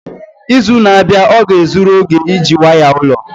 Izu na-abịa ọ ga-ezuru oge iji waya ụlọ?